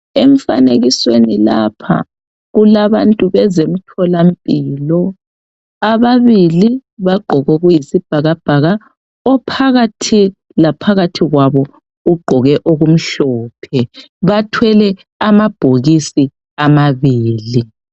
Emfanekisweni lapha kulabantu bezemtholampilo ababili bagqoke okuyisibhakabhaka ophakathi laphakathi kwabo ugqoke okumhlophe bathwele amabhokisi amabili.